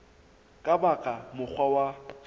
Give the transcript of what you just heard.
ka ba ka mokgwa wa